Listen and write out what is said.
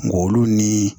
Ng'olu ni